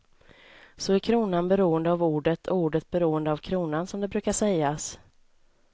Så är kronan beroende av ordet och ordet beroende av kronan, som det brukar sägas.